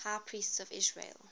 high priests of israel